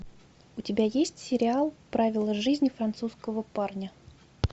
у тебя есть сериал правила жизни французского парня